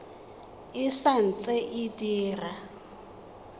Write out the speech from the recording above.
e sa ntse e dira